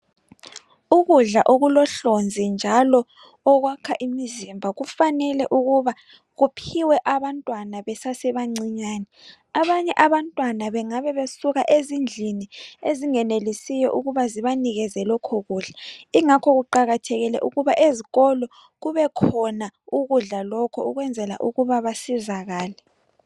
Ukudla okulohlonzi njalo okwakha imzimba kumele ukuba kuphiwe abantwana besesebancinyane. Abanye abantwana bangabebesuka ezindlini ezingenelisiyo ukuba zibanikezelokho kudla. Ingakho kuqakathekile ukuthi ezikolo kubekhona ukudla lokho ukwenzela ukuba basizakale